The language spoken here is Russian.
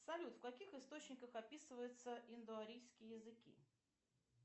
салют в каких источниках описываются индоарийские языки